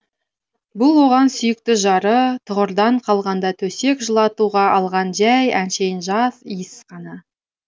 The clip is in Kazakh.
бұл оған сүйікті жары тұғырдан қалғанда төсек жылытуға алған жай әншейін жас иіс қана